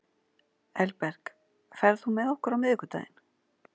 Elberg, ferð þú með okkur á miðvikudaginn?